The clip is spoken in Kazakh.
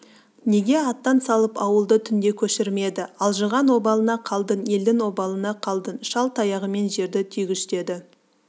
неге аттан салып ауылды түнде көшірмеді алжыған обалына қалдың елдің обалына қалдың шал таяғымен жерді түйгіштеді